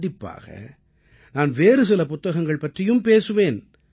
கண்டிப்பாக நான் வேறு சில புத்தகங்கள் பற்றியும் பேசுவேன்